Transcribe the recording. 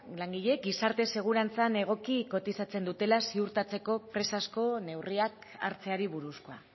langileek gizarte segurantzan egoki kotizatzen dutela ziurtatzeko prest asko neurriak hartzeari buruzkoa